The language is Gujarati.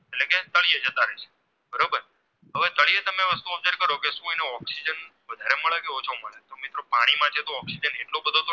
ધારો કે Oxygen વધારે મળે કે ઓછો મળે તો મિત્રો પાણીમાં છે તો Oxygen